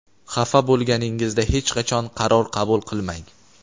Xafa bo‘lganingizda hech qachon qaror qabul qilmang.